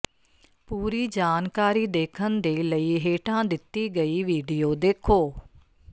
ਪੂਰੀ ਜਾਣਕਾਰੀ ਦੇਖਣ ਦੇ ਲਈ ਹੇਠਾਂ ਦਿੱਤੀ ਗਈ ਵੀਡੀਓ ਦੇਖੋ